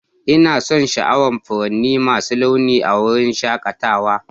Ina son sha'awar furanni masu launi a wurin shakatawa.